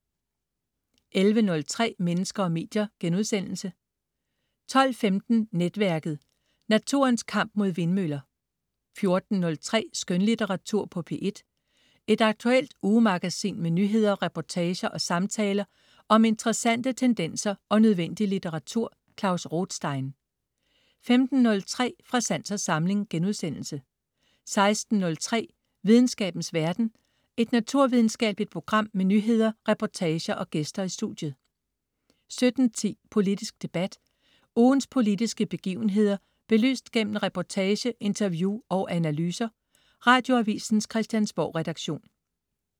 11.03 Mennesker og medier* 12.15 Netværket. Naturens kamp mod vindmøller 14.03 Skønlitteratur på P1. Et aktuelt ugemagasin med nyheder, reportager og samtaler om interessante tendenser og nødvendig litteratur. Klaus Rothstein 15.03 Fra sans og samling* 16.03 Videnskabens verden. Et naturvidenskabeligt program med nyheder, reportager og gæster i studiet 17.10 Politisk debat. Ugens politiske begivenheder belyst gennem reportage, interview og analyser. Radioavisens Christiansborgredaktion